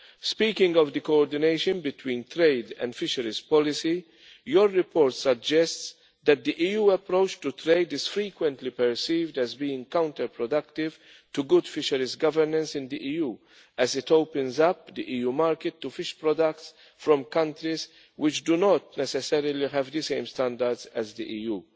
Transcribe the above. Speaking of the coordination between trade and fisheries policy, your report suggests that the EU approach to trade is frequently perceived as being counter productive to good fisheries governance in the EU, as it opens up the EU market to fish products from countries which do not necessarily have the same standards as the EU.